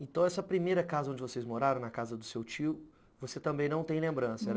Então, essa primeira casa onde vocês moraram, na casa do seu tio, você também não tem lembrança?